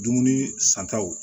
Dumuni santaw